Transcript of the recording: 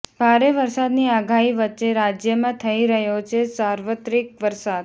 ભારે વરસાદની આગાહી વચ્ચે રાજ્યમાં થઈ રહ્યોછે સાર્વત્રિક વરસાદ